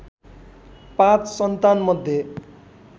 पाँच सन्तानमध्ये